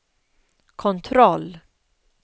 kontroll